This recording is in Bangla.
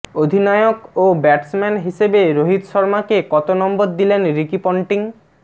অধিনায়ক ও ব্যাটসম্যান হিসেবে রোহিত শর্মাকে কত নম্বর দিলেন রিকি পন্টিং